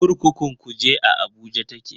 Kurkukun Kuje a Abuja take.